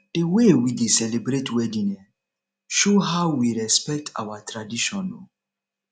the way we dey celebrate wedding um show how we respect our tradition um